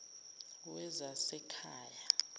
wezasekhaya